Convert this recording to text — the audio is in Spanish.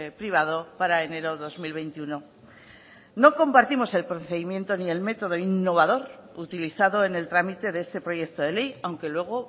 privado para enero dos mil veintiuno no compartimos el procedimiento ni el método innovador utilizado en el trámite de este proyecto de ley aunque luego